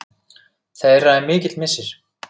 Þeirra er mikill missir.